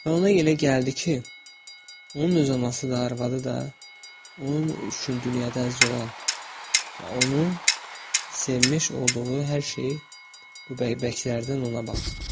Və ona elə gəldi ki, onun öz anası da, arvadı da, onun üçün dünyada əziz olan və onu sevmiş olduğu hər şeyi bu bəbəklərdən ona baxır.